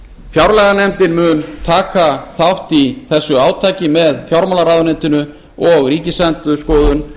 fjárlaganefndin mun taka þátt í þessu átaki með fjármálaráðuneytinu og ríkisendurskoðun